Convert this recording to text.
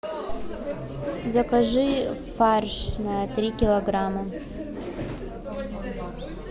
закажи фарш на три килограмма